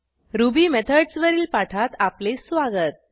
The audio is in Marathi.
रुबी Methodsवरील पाठात आपले स्वागत